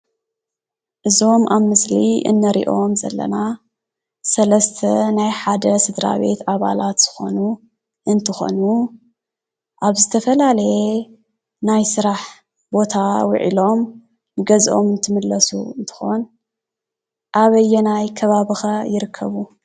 እዞም አብ ምስሊ እንሪኦም ዘለና ሰለስተ ናይ ሓደ ስድራ ቤት አባላት ዝኾኑ እንትኾኑ፤ አብ ዝተፈላለየ ናይ ስራሕ ቦታ ውዒሎም ገዝኦም እንትምለሱ እንትኾን፤ አበየናይ ከባቢ ኸ ይርከቡ፡፡